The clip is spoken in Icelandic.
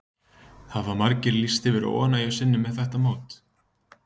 Hafa margir lýst yfir óánægju sinni með þetta mót?